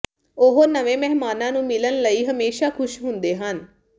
ਉਹ ਨਵੇਂ ਮਹਿਮਾਨਾਂ ਨੂੰ ਮਿਲਣ ਲਈ ਹਮੇਸ਼ਾਂ ਖੁਸ਼ ਹੁੰਦੇ ਹਨ